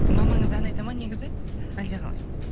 мамаңыз ән айтады ма негізі әлде қалай